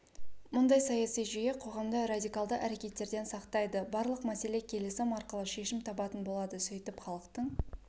мұндай саяси жүйе қоғамды радикалды әркеттерден сақтайды барлық мәселе келісім арқылы шешім табатын болады сөйтіп халықтың